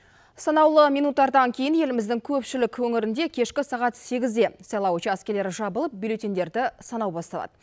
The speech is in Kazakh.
санаулы минуттардан кейін еліміздің көпшілік өңірінде кешкі сағат сегізде сайлау учаскелері жабылып бюлеттеньдерді санау басталады